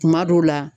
Kuma dɔw la